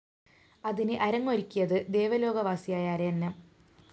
അതിന് അരങ്ങൊരുക്കിയത് ദേവലോകവാസിയായ അരയന്നം